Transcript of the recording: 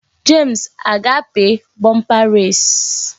James aga-api bumper race?